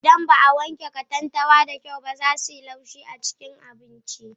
Idan ba a wanke katantanwa da kyau ba, za su yi laushi a cikin abinci.